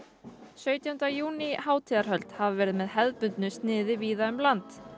sautjánda júní hátíðarhöld hafa verið með hefðbundnu sniði víða um land